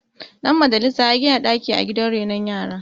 Dan majalisa ya gida daki a gidan renon yara